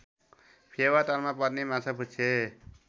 फेवातालमा पर्ने माछापुच्छ्रे